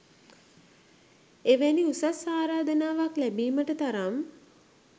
එවැනි උසස් ආරාධනාවක් ලැබීමට තරම්